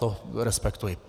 To respektuji.